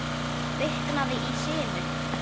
Kviknaði í sinu